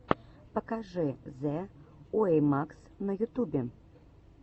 покажи зэ уэймакс на ютубе